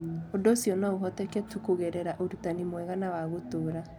Ũndũ ũcio no ũhoteke tu kũgerera ũrutani mwega na wa gũtũũra.